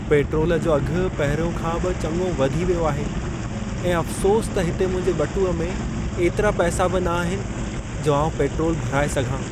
Petrol जो अघु पहिरियों खां बि चङो वधी वियो आहे ऐं अफ्सोस त हिते मुंहिंजे ॿटूंअ में एतिरा पैसा बि न आहिनि जो आउं पेट्रोलु भराए सघां।